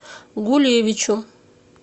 гулевичу